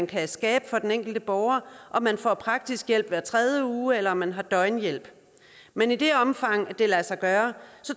kan skabes for den enkelte borger alt om man får praktisk hjælp hver tredje uge eller man har døgnhjælp men i det omfang det lader sig gøre